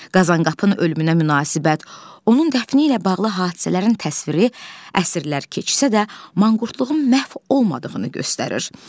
Qazankapın ölümünə münasibət, onun dəfni ilə bağlı hadisələrin təsviri əsrlər keçsə də, manqurtluğun məhv olmadığını göstərir.